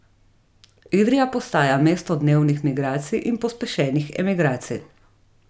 Idrija postaja mesto dnevnih migracij in pospešenih emigracij.